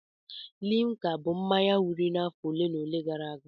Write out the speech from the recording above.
Limka bụ mmanya wiri n'afọ ole na ole gara aga.